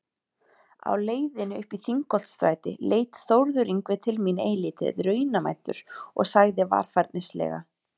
Á leiðinni uppí Þingholtsstræti leit Þórður Yngvi til mín eilítið raunamæddur og sagði varfærnislega